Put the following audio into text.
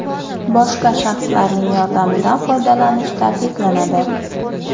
Boshqa shaxslarning yordamidan foydalanish taqiqlanadi.